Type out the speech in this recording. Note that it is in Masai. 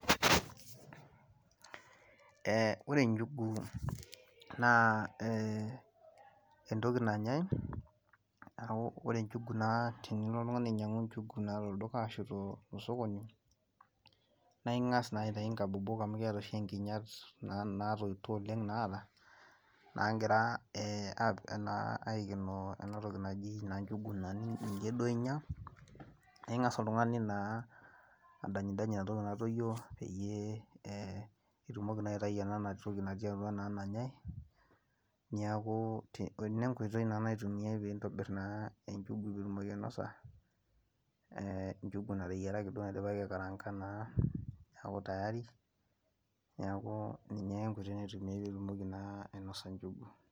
Ee ore njugu naa ee, entoki nanyae, naa ore njugu naa tenilo oltungani ainyiangu njugu naa tolduka ashu tosokoni, naa ingas naa aitayu nkabobok, amu kiata oshi nkinyat, naatoito oleng naata, naagira aikenoo ena toki naji njugu naa ninye duo inyia. naa ingas oltungani naa adanyidany, entoki natoyio peyie, itumoki naa aitayu ena toki natii atua nanyae, neeku ena enkoitoi naitumiae pee intobir naa enjugu pee itumoki ainosa, njugu nateyiaraki naidipaki aikaraanka naa, neeku tayari, neeku ninye ake enkoitoi naitumiae pee itumoki naa ainosa njugu.